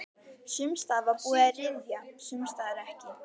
Sums staðar var búið að ryðja, sums staðar ekki.